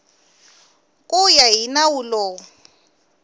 ku ya hi nawu lowu